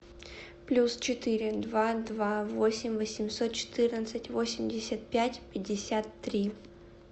плюс четыре два два восемь восемьсот четырнадцать восемьдесят пять пятьдесят три